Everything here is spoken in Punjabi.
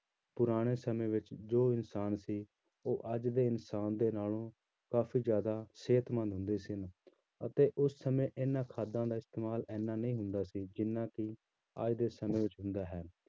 ਪੁਰਾਣੇ ਸਮੇਂ ਵਿੱਚ ਜੋ ਇਨਸਾਨ ਸੀ ਉਹ ਅੱਜ ਦੇ ਇਨਸਾਨ ਦੇ ਨਾਲੋਂ ਕਾਫ਼ੀ ਜ਼ਿਆਦਾ ਸਿਹਤਮੰਦ ਹੁੰਦੇ ਸੀ ਲੋਕੀ ਅਤੇ ਉਸ ਸਮੇਂ ਇਹਨਾਂ ਖਾਦਾਂ ਦਾ ਇਸਤੇਮਾਲ ਇੰਨਾ ਨਹੀਂ ਹੁੰਦਾ ਸੀ ਜਿੰਨਾ ਕਿ ਅੱਜ ਦੇ ਸਮੇਂ ਵਿੱਚ ਹੁੰਦਾ ਹੈ